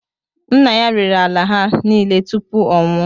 Nna ya rere ala ha nile tupu ọ nwụọ